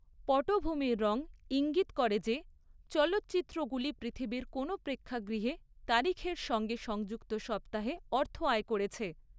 পটভূমির রং ঈঙ্গিত করে যে চলচ্চিত্রগুলি পৃথিবীর কোনও প্রেক্ষাগৃহে তারিখের সঙ্গে সংযুক্ত সপ্তাহে অর্থ আয় করেছে।